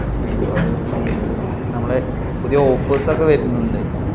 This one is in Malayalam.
അയ്യോ അത്‌ ചെയ്യരുത്‌. നമ്മളെ പുതിയ offers ഒക്കെ വരുന്നുണ്ട്.